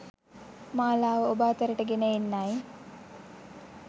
මාලාව ඔබ අතරට ගෙන එන්නයි